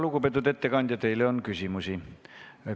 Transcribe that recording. Lugupeetud ettekandja, teile on küsimusi.